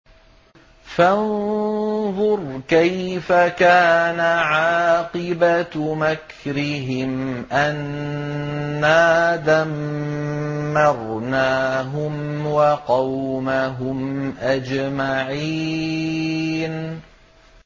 فَانظُرْ كَيْفَ كَانَ عَاقِبَةُ مَكْرِهِمْ أَنَّا دَمَّرْنَاهُمْ وَقَوْمَهُمْ أَجْمَعِينَ